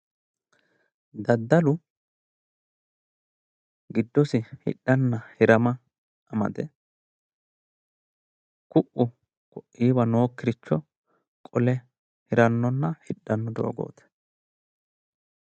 daddalu giddosi hidhanna hirama amade ku'u ko'iiwa nookkiricho qole hirannonna hidhanno doogooti.